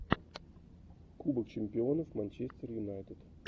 кубок чемпионов манчестер юнайтед